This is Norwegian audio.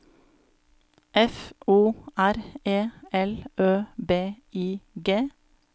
F O R E L Ø B I G